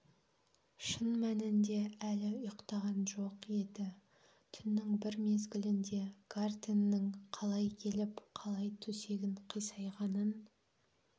шын мәнінде әлі ұйықтаған жоқ еді түннің бір мезгілінде гартенның қалай келіп қалай төсегін қисайғанын